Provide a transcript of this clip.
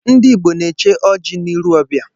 Ndị Igbo na-eche ọji n'iru ọbịa.